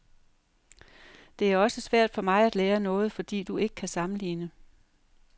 Det er også svært for mig at lære noget, fordi du ikke kan sammenligne.